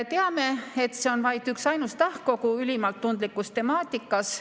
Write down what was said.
Teame, et see on vaid üksainus tahk ülimalt tundlikus temaatikas.